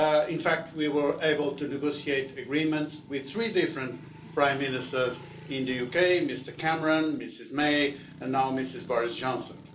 In fact, we were able to negotiate Agreements with three different prime ministers in the UK Mr Cameron, Mrs May and now Mr Boris Johnson.